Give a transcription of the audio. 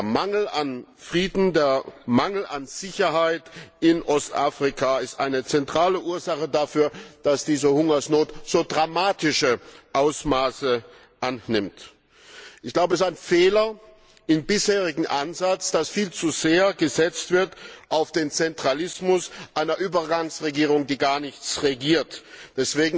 Der Mangel an Frieden, der Mangel an Sicherheit in Ostafrika ist eine zentrale Ursache dafür, dass diese Hungersnot so dramatische Ausmaße annimmt. Ich glaube, das ist ein Fehler im bisherigen Ansatz, dass viel zu sehr auf den Zentralismus einer Übergangsregierung, die gar nichts regiert, gesetzt wird.